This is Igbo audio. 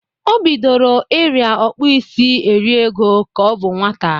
O bidoro ịrịa ọkpụisi eriego ka ọ bụ nwata.